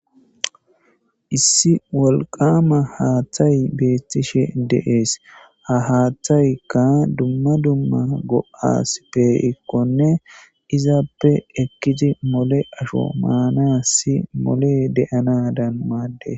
issi wolqama haaththay beettishe deees ha haaththaykka dumma dumma go7as peikkone izappe ekkidi mole asho maanasi mole de7anadam maadde